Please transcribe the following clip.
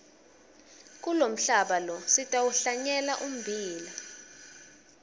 kulomhlaba lo sitawuhlanyela ummbila